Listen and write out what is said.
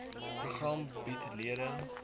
program bied lede